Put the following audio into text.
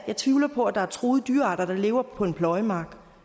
jeg tvivler på at der er truede dyrearter der lever på en pløjemark